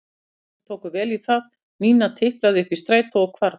Krakkarnir tóku vel í það og Nína tiplaði upp í strætó og hvarf.